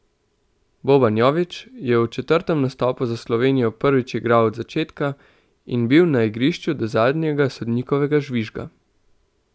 Boban Jović je v četrtem nastopu za Slovenijo prvič igral od začetka in bil na igrišču do zadnjega sodnikovega žvižga.